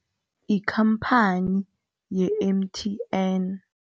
Ikhamphani ye-M_T_N.